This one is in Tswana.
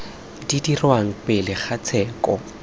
di dirwang pele ga tsheko